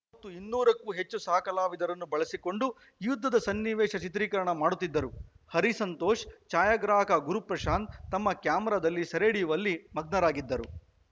ಅವತ್ತು ಇನ್ನೂರಕ್ಕೂ ಹೆಚ್ಚು ಸಹ ಕಲಾವಿದರನ್ನು ಬಳಸಿಕೊಂಡು ಯುದ್ಧದ ಸನ್ನಿವೇಶ ಚಿತ್ರೀಕರಣ ಮಾಡುತ್ತಿದ್ದರು ಹರಿ ಸಂತೋಷ್‌ ಛಾಯಾಗ್ರಾಹಕ ಗುರು ಪ್ರಶಾಂತ್‌ ತಮ್ಮ ಕ್ಯಾಮೆರಾದಲ್ಲಿ ಸೆರೆಡಿಯುವಲ್ಲಿ ಮಗ್ನರಾಗಿದ್ದರು